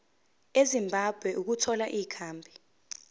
ezimbabwe ukuthola ikhambi